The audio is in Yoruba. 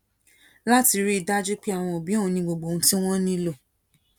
láti rí i dájú pé àwọn òbí òun ní gbogbo ohun tí wón nílò